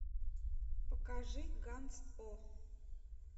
покажи ганц о